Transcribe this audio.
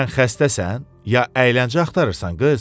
Sən xəstəsən, ya əyləncə axtarırsan qız?